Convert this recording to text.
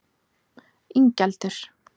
Ingjaldur